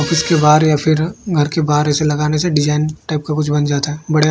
इसके बाहर या फिर घर के बाहर ऐसे लगाने से डिजाइन टाइप का कुछ बन जाता है बड़े--